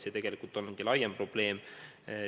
See on laiem probleem.